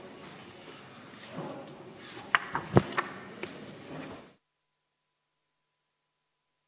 Istungi lõpp kell 14.59.